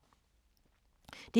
DR2